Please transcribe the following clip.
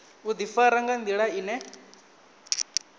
u ḓifara nga nḓila ine